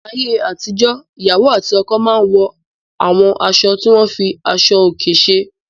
Ní ayé àtijọ́, ìyàwó àti ọkọ máa n wọ àwọn aṣọ tí wọ́n fi aṣọ òkè ṣe.